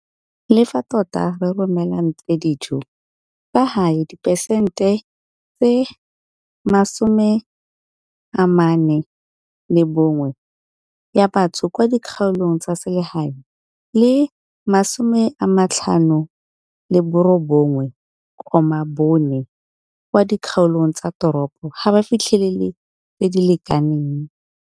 le fa tota re romelantle dijo, fa gae diperesente 41 ya batho kwa dikgaolong tsa selegae le 59,4 kwa dikgaolong tsa toropo ga ba fitlhelele tse di lekaneng.